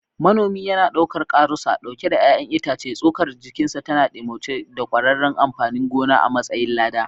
Manomi yana ɗaukar karusa ɗauke da ’ya’yan itace, tsokar jikinsa tana ɗimauce da ƙwaƙƙwaran amfanin gona a matsayin lada.